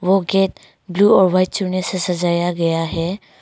वो gate blue और white चूने से सजाया गया है।